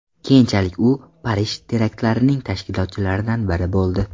Keyinchalik u Parij teraktlarining tashkilotchilaridan biri bo‘ldi.